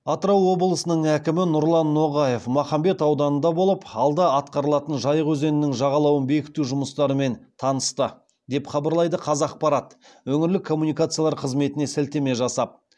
атырау облысының әкімі нұрлан ноғаев махамбет ауданында болып алда атқарылатын жайық өзенінің жағалауын бекіту жұмыстарымен танысты деп хабарлайды қазақпарат өңірлік коммуникациялар қызметіне сілтеме жасап